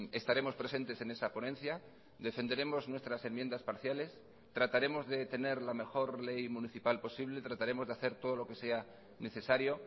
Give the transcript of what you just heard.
estaremos presentes en esa ponencia defenderemos nuestras enmiendas parciales trataremos de tener la mejor ley municipal posible trataremos de hacer todo lo que sea necesario